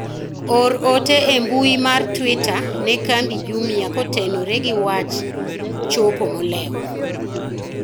or ote e mbui mar twita ne kambi jumia kotenore gi wach chopo molewo